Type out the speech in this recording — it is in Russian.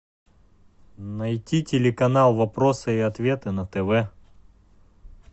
найти телеканал вопросы и ответы на тв